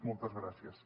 moltes gràcies